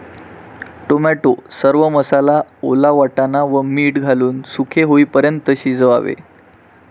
Tomato, सर्व मसाला, ओला वाटाणा व मीठ घालून सुके होईपर्यंत शिजवावे.